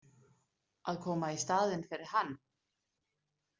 Að koma í staðinn fyrir hann?